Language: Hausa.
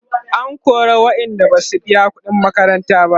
an kora waƴanda Basu biya ƙuɗin makaranta ba